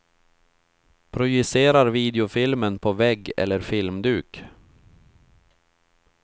Projicerar videofilmen på vägg eller filmduk.